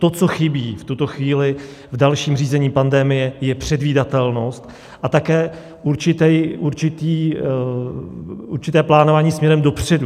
To, co chybí v tuto chvíli v dalším řízení pandemie, je předvídatelnost a také určité plánování směrem dopředu.